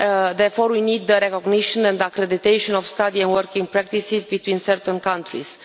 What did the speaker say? Therefore we need the recognition and accreditation of study and working practices between certain countries.